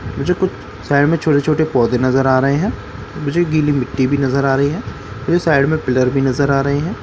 मुझे कुछ साइड में छोटे-छोटे पौधे नजर आ रहे हैं मुझे गीली मिट्टी भी नजर आ रही है मुझे साइड में पिलर भी नजर आ रहे हैं।